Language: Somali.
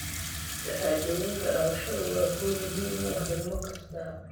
Shahaadooyinka dhalashadu waa guul muhiim u ah ilmo kasta.